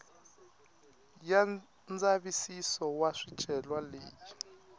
ya ndzavisiso wa swicelwa leyi